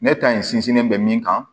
Ne ta in sinsinnen bɛ min kan